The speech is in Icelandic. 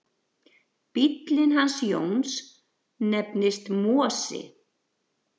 Bíllinn hans Jóns nefnist Mosi.